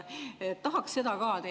Tahaks seda ka teie huultelt …